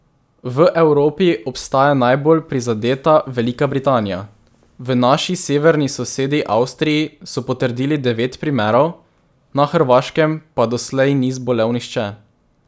V Evropi ostaja najbolj prizadeta Velika Britanija, v naši severni sosedi Avstriji so potrdili devet primerov, na Hrvaškem pa doslej ni zbolel nihče.